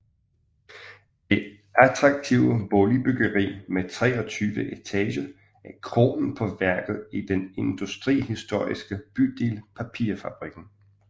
Det attraktive boligbyggeri med 23 etager er kronen på værket i den industrihistoriske bydel Papirfabrikken